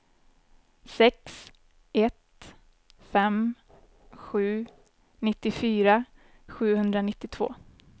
sex ett fem sju nittiofyra sjuhundranittiotvå